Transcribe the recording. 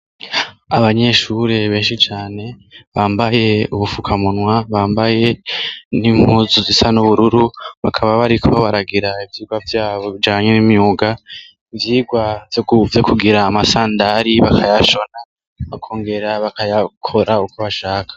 Abanyeshure benshi cane bambaye ubufukamunwa, bambaye n'impuzu zisa n'ubururu, bakaba bariko baragira ivyigwa vyabo bijanye n'imyuga, ivyigwa vyo kugira amasandari bakayashona, bakongera bakayakora uko bashaka.